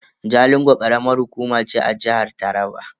Jalingo karamar hukuma ce a jihar Taraba.